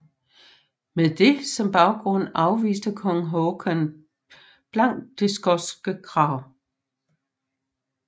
Med det som baggrund afviste kong Håkon blankt det skotske krav